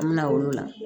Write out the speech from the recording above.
An bɛ na olu la